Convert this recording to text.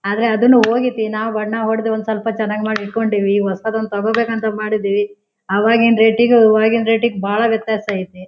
ಆದ್ರೆ ಅದನ್ನು ಹೊಗೆತ್ತಿ ನಾವ್ ಬಣ್ಣ ಹೊಡೆದ್ ಒಂದ್ ಸ್ವಲ್ಪ ಚೆನ್ನಾಗ್ ಮಾಡ್ ಇಟ್ಟ್ಕೊಂಡು ಈವಿ ಹೊಸದು ಒಂದು ತಗೋಬೇಕು ಅಂತ ಮಾಡಿದೀವಿ ಆಗಿನ ರೆಟ್ ಗೆ ಇವಾಗಿನ ರೆಟ್ ಗೆ ಬಹಳ ವ್ಯತ್ಯಾಸ ಐತ್ತಿ.